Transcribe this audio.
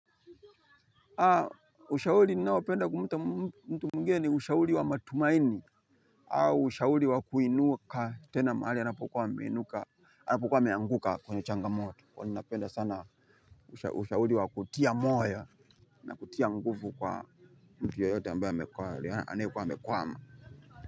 Ushauri ninaopenda kumpa mtu mwingine ni ushauri wa matumaini. Au ushaurii wa kuinuka tena mahali anapokuwa ameinuka anapokuwa ameanguka kwenye changamoto. Kwa ninawapenda sana ushauri. Ushauri wa kutia moyo. Na kutia nguvu kwa mtu yoyote ambaye anayekuwa amekwama.